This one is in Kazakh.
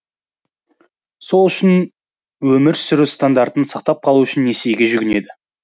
сол үшін өмір сүру стандартын сақтап қалу үшін несиеге жүгінеді